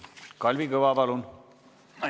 Kalvi Kõva, palun!